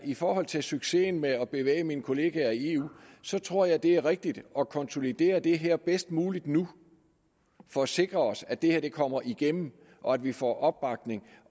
i forhold til succesen med at bevæge mine kollegaer i eu tror jeg at det er rigtigt at konsolidere det her bedst muligt nu for at sikre os at det her kommer igennem og at vi får opbakning